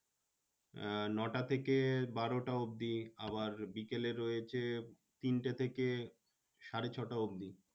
আহ নটা থেকে বারোটা অব্দি। আবার বিকেলে রয়েছে তিনটে থেকে সাড়ে ছটা অব্দি।